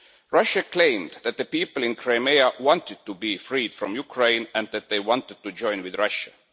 Russia claimed that the people in Crimea wanted to be freed from Ukraine and that they wanted to join with Russia.